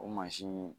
O mansin